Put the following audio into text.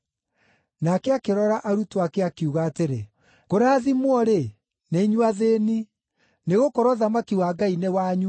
Nake akĩrora arutwo ake, akiuga atĩrĩ: “Kũrathimwo-rĩ, nĩ inyuĩ athĩĩni, nĩgũkorwo ũthamaki wa Ngai nĩ wanyu.